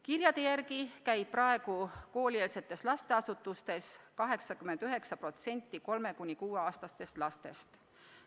Kirjade järgi käib praegu koolieelsetes lasteasutustes 89% 3–6-aastastest lastest.